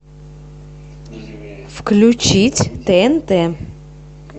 включить тнт